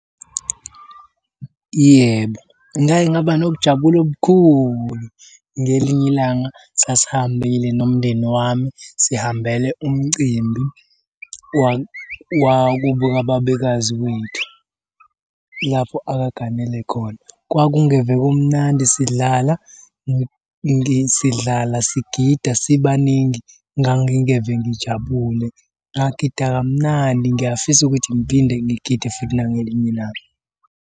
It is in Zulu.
Yebo, ngake ngaba nokujabula okukhulu. Ngelinye ilanga sasihambile nomndeni wami sihambele umcimbi wakubo kababekazi kwethu lapho akaganele khona. Kwakungeve kumnandi sidlala, sidlala sigida sibaningi. Ngangingeve ngijabule, ngagida kamnandi ngiyafisa ukuthi ngiphinde ngigide futhi nangelinye ilanga.